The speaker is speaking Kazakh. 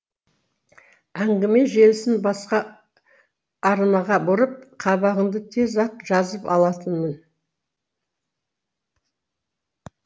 әңгіме желісін басқа арнаға бұрып қабағыңды тез ақ жазып алатынмын